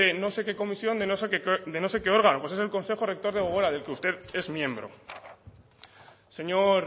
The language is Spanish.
no sé qué comisión de no sé qué órgano pues es el consejo rector de gogora del que usted es miembro señor